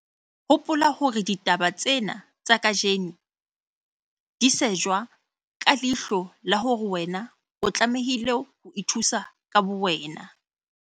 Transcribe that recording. Hopola hore ditaba tsena tsa kajeno di shejwa ka leihlo la hore wena o tlamehile ho ithusa ka bowena.